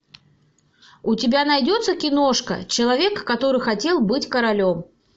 у тебя найдется киношка человек который хотел быть королем